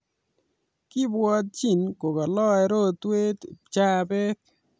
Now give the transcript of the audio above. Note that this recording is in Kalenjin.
Kibwotching kokalae rotwet, pchabet